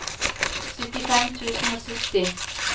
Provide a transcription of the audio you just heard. syttifem tusen og sytti